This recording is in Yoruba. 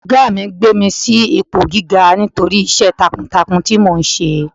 Ọ̀gá mi gbé mi sí ipò gíga nítorí iṣẹ́ takuntakun tí mò ń ṣe.